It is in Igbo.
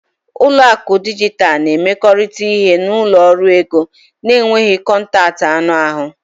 Ụlọ akụ dijitalụ na-emekọrịta ihe na ụlọ ọrụ ego na-enweghị kọntaktị anụ ahụ.